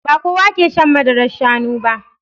Ba kowa ke shan madarar Shanu ba